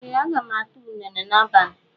Ee, aga m ata unere n'abalị